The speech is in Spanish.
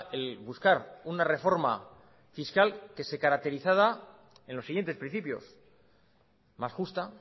el buscar una reforma fiscal que se caracterizara en los siguientes principios más justa